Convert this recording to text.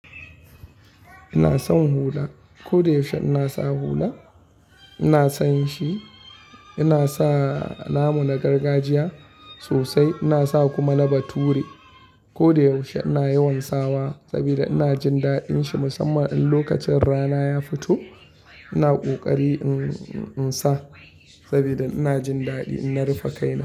Ina son hula. Ko da yaushe ina sa hula, ina son shi. Ina sa namu na gargajiya sosai. Ina sa kuma na bature. Ko da yaushe ina yawan sawa saboda ina jin daɗin shi. Musamman in lokacin rana ya fito, ina ƙoƙari in, in, in sa saboda ina jin daɗi in na rufe kaina.